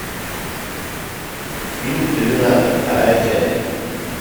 фильм терминатор вторая часть